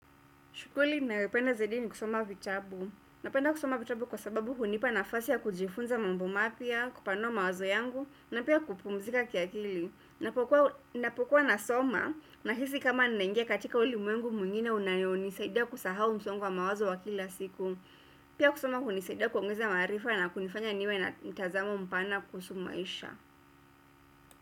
Shughuli ninayopenda zaidi ni kusoma vitabu napenda kusoma vitabu kwa sababu hunipa nafasi ya kujifunza mambo mapya, kupanua mawazo yangu na pia kupumzika kiakili. Ninapokuwa nasoma nahisi kama ninaingia ulimwengu mwingine unayonisaidia kusahau msongo wa mawazo wa kila siku pia kusoma hunisaidia kuongeza maarifa na kunifanya niwe na mtazamo mpana kuhusu maisha.